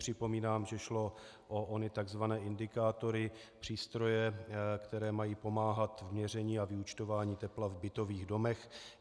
Připomínám, že šlo o ony tzv. indikátory, přístroje, které mají pomáhat v měření a vyúčtování tepla v bytových domech.